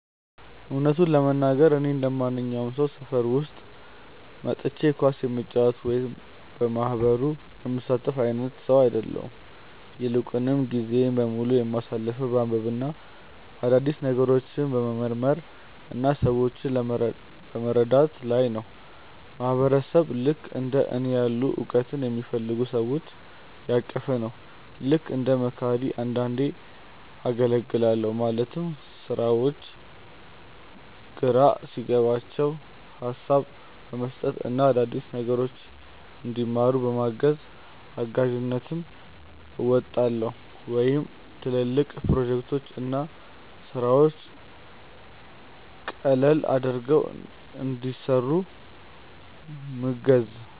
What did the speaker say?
እውነቱን ለመናገር፣ እኔ እንደማንኛውም ሰው ሰፈር ውስጥ ወጥቼ ኳስ የምጫወት ወይም በየማህበሩ የምሳተፍ አይነት ሰው አይደለሁም። ይልቁንም ጊዜዬን በሙሉ የማሳልፈው በማንበብ፣ አዳዲስ ነገሮችን በመመርመር እና ሰዎችን በመርዳት ላይ ነው። ማህበረሰብ ልክእንደ እኔ ያሉ እውቀትን የሚፈልጉ ሰዎችን ያቀፈ ነው። ልክ እንደ መካሪ አንዳንዴ አገልግላለሁ ማለትም ሰዎች ግራ ሲገባቸው ሀሳብ በመስጠት እና አዳዲስ ነገሮችን እንዲማሩ በማገዝ። እጋዥነትም አወጣለሁ ወይም ትልልቅ ፕሮጀክቶችን እና ስራዎችን ቀለል አድርገው እንዲሰሩ ምገዝ።